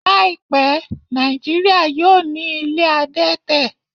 Láìpẹ́, Nàìjíríà yóò ní ilé adẹ́tẹ̀